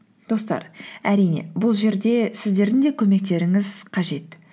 достар әрине бұл жерде сіздердің де көмектеріңіз қажет